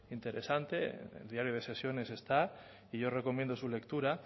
interesante en el diario de sesiones está y yo recomiendo su lectura